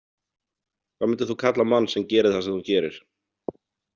Hvað myndir þú kalla mann sem gerir það sem þú gerir?